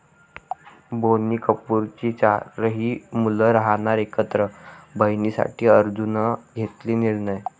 बोनी कपूरची चारही मुलं राहणार एकत्र, बहिणींसाठी अर्जुननं घेतला निर्णय